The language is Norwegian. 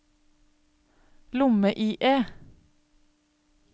lomme-IE